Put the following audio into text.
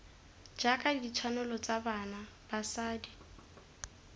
jaaka ditshwanelo tsa bana basadi